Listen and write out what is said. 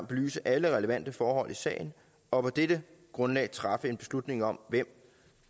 belyse alle relevante forhold i sagen og på dette grundlag træffe en beslutning om hvem